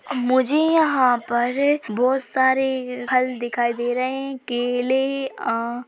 मुझे यहां पर बहुत सारे हल दिखाई दे रहे है केले आ--।